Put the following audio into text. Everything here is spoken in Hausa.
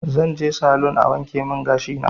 Zanje salun a wankemin gashina